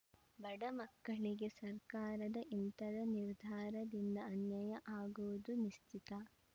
ಬಡಮಕ್ಕಳಿಗೆ ಸರ್ಕಾರದ ಇಂತದ ನಿರ್ಧಾರದಿಂದ ಅನ್ಯಾಯ ಆಗುವುದು ನಿಶ್ಚಿತ